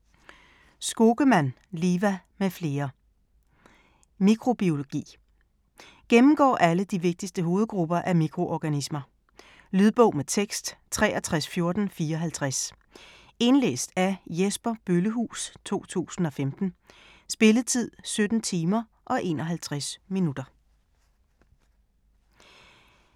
Skogemann, Liva m.fl: Mikrobiologi Gennemgår alle de vigtigste hovedgrupper af mikroorganismer. Lydbog med tekst 631454 Indlæst af Jesper Bøllehuus, 2015. Spilletid: 17 timer, 51 minutter.